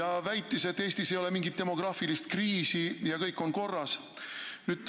Ametnik väitis, et Eestis ei ole mingit demograafilist kriisi ja kõik on korras.